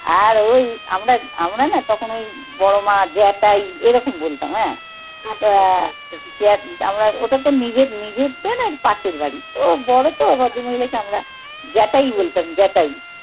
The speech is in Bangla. আর ওই আমরা, আমরা না তখন ওই বড়মা, জ্যাঠাই এরকম বলতাম হ্যাঁ। ওটা তো নিজের নিজের আর পাশের বাড়ি। ও বড় তো, ভদ্র মহিলাকে আমরা জ্যাঠাই বলতাম, জ্যাঠাই।